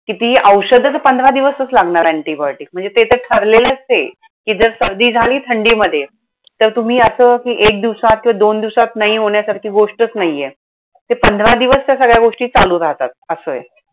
कितीही औषधं तर पंधरा दिवसच लागणार antibiotic म्हणजे ते तर ठरलेलंचे, कि जर सर्दी झाली थंडीमध्ये तर तुम्ही असं एक दिवसात किंवा दोन दिवसात नाही होण्यासारखी गोष्टच नाहीये. ते पंधरा दिवस त्या सगळ्या गोष्टी चालू राहतात. असंय!